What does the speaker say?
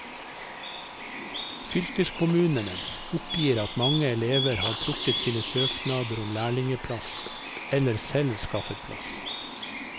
Fylkeskommunene oppgir at mange elever har trukket sine søknader om lærlingeplass eller selv skaffet plass.